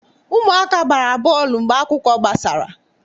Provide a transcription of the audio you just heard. Ụmụaka gbara bọọlụ mgbe akwụkwọ gbasara.